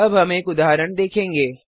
अब हम एक उदाहरण देखेंगे